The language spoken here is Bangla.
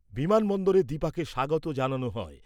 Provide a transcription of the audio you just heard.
বিমান বন্দরে দীপাকে স্বাগত জানানো হয়।